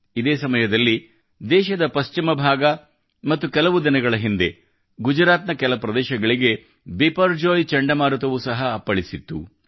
ಇದೇ ಸಮಯದಲ್ಲಿ ದೇಶದ ಪಶ್ಚಿಮ ಭಾಗ ಮತ್ತು ಕೆಲವು ದಿನಗಳ ಹಿಂದೆ ಗುಜರಾತ್ ನ ಕೆಲ ಪ್ರದೇಶಗಳಿಗೆ ಬಿಪರ್ಜೋಯ್ ಚಂಡಮಾರುತವು ಸಹ ಅಪ್ಪಳಿಸಿತ್ತು